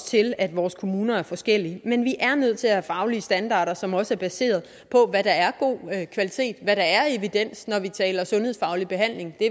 til at vores kommuner er forskellige men vi er nødt til at have faglige standarder som også er baseret på hvad der er god kvalitet hvad der er af evidens når vi taler sundhedsfaglig behandling det